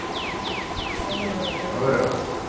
തന്നെ മോനെ തന്നെ